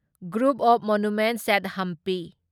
group of monuments at Hampi